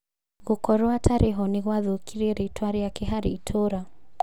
Gũkorwo atarĩ ho nĩgwathukirie rĩtwa rīake harĩ itũra